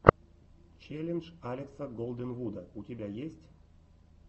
челлендж алекса голденвуда у тебя есть